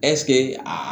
ɛsike a